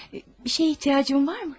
Bir şeyə ehtiyacın var mı?